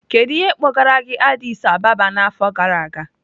Kedu ihe kpọgara gị Addis Ababa n'afọ gara aga?